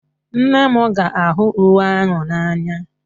Nne m ga-ahụ uwe ahụ n'anya